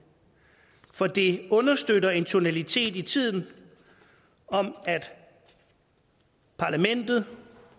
for det understøtter en tonalitet i tiden om at parlamentet